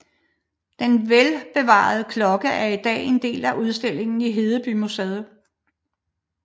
Den velbevarede klokke er i dag en del af udstillingen i Hedebymuseet